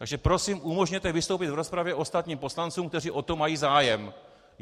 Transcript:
Takže prosím umožněte vystoupit v rozpravě ostatním poslancům, kteří o to mají zájem.